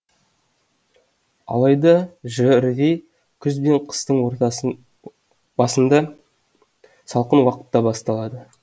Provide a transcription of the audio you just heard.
алайда жрви күз бен қыстың басында салқын уақытта басталады